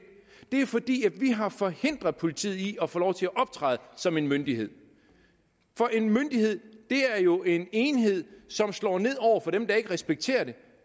det er fordi vi har forhindret politiet i at få lov til at optræde som en myndighed for en myndighed er jo en enhed som slår ned over for dem der ikke respekterer det